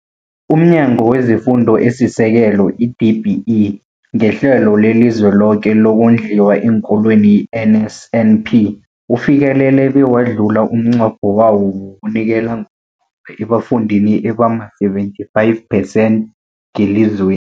UmNyango wezeFundo esiSekelo, i-DBE, ngeHlelo leliZweloke lokoNdliwa eenKolweni, i-NSNP, ufikelele bewadlula umnqopho wawo wokunikela ngokugoma ebafundini abama-75 percent ngelizwe